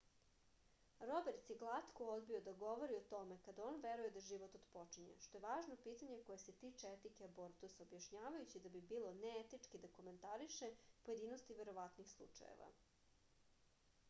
roberts je glatko odbio da govori o tome kada on veruje da život otpočinje što je važno pitanje koje se tiče etike abortusa objašnjavajući da bi bilo neetički da komentariše pojedinosti verovatnih slučajeva